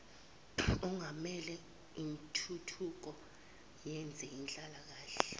ongamele intuthuko yezenhlalakahle